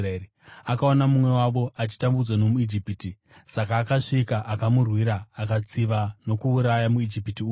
Akaona mumwe wavo achitambudzwa nomuIjipita, saka akasvika akamurwira akatsiva nokuuraya muIjipita uya.